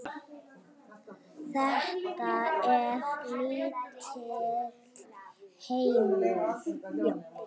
Þetta er lítill heimur.